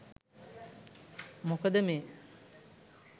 මොකද මේ